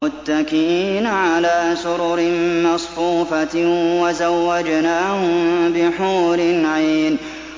مُتَّكِئِينَ عَلَىٰ سُرُرٍ مَّصْفُوفَةٍ ۖ وَزَوَّجْنَاهُم بِحُورٍ عِينٍ